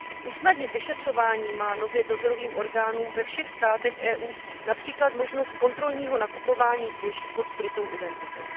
Usnadnit vyšetřování má nově dozorovým orgánům ve všech státech EU například možnost kontrolního nakupování zboží pod skrytou identitou.